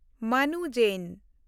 ᱢᱟᱱᱩ ᱡᱮᱱ